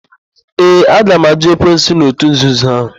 Ee, aga m àjụ́ ekwensu na òtù nzuzo ahụ.